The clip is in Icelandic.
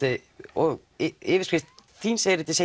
og yfirskrift þíns erindis